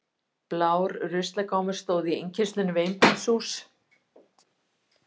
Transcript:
Blár ruslagámur stóð í innkeyrslunni við einbýlishús